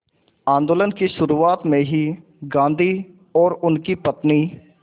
आंदोलन की शुरुआत में ही गांधी और उनकी पत्नी